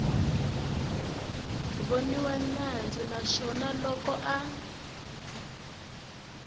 voniwa nandzu naswona loko a